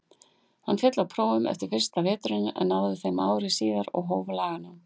Hann féll á prófum eftir fyrsta veturinn en náði þeim ári síðar og hóf laganám.